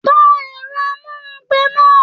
Tan ẹrọ amurungbẹ̀ náà!